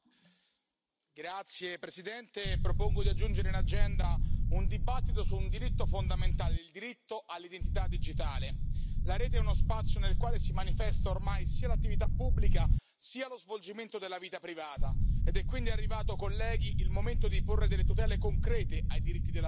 Signor Presidente, onorevoli colleghi, propongo di aggiungere in agenda un dibattito su un diritto fondamentale il diritto all'identità digitale. La rete è uno spazio nel quale si manifesta, ormai, sia l'attività pubblica sia lo svolgimento della vita privata ed è quindi arrivato, colleghi, il momento di porre delle tutele concrete ai diritti della persona.